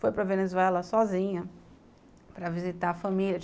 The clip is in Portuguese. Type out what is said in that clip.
Foi para Venezuela sozinha para visitar a família.